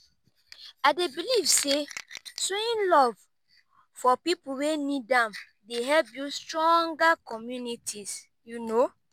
i dey believe say showing love for people wey need am dey help build stronger communities.